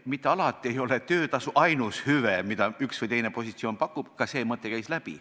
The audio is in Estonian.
Mitte alati ei ole töötasu ainus hüve, mida üks või teine positsioon pakub – ka see mõte käis läbi.